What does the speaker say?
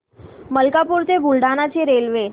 मलकापूर ते बुलढाणा ची रेल्वे